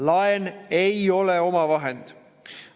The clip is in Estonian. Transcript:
Laen ei ole omavahend.